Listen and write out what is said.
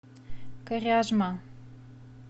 коряжма